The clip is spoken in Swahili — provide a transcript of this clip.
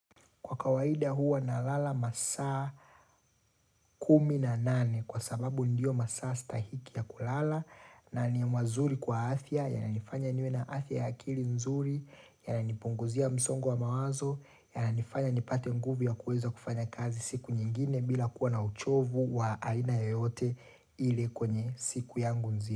Kwa kawaida huwa nalala masaa kumi na nane kwa sababu ndiyo masaa stahiki ya kulala na ni mazuri kwa afya ya. Yana nifanya niwe na afya ya akili nzuri, yana nipunguzia msongo wa mawazo, yana nifanya nipate nguvu ya kuweza kufanya kazi siku nyingine bila kuwa na uchovu wa aina yoyote ile ile kwenye siku yangu nzima.